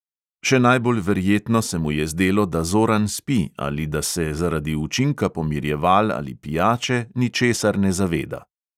Še najbolj verjetno se mu je zdelo, da zoran spi ali da se zaradi učinka pomirjeval ali pijače ničesar ne zaveda.